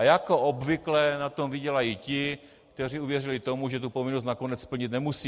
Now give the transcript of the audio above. A jako obvykle na tom vydělají ti, kteří uvěřili tomu, že tu povinnost nakonec splnit nemusí.